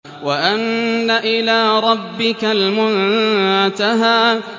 وَأَنَّ إِلَىٰ رَبِّكَ الْمُنتَهَىٰ